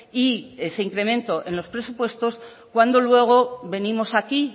y ese incremento en los presupuestos cuando luego venimos aquí